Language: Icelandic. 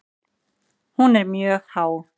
Hún er mjög há.